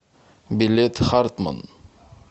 билет хартманн